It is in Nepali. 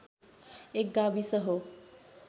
एक गाविस हो